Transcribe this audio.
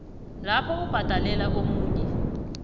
lapho ubhadelela omunye